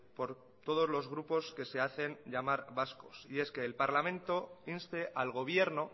por todos los grupos que se hacen llamar vascos y es que el parlamento inste al gobierno